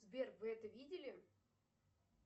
сбер вы это видели